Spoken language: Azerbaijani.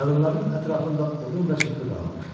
Qadınların ətrafında odun və çırpı qalanmışdı.